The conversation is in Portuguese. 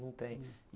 Não tem.